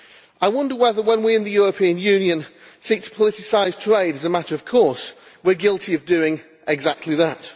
I wonder whether, when we in the European Union seek to politicise trade as a matter of course, we are guilty of doing exactly that.